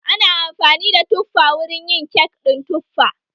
Ana amfani da tuffa wurin yin kek ɗin tuffa